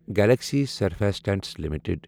Galaxy Surfactants limited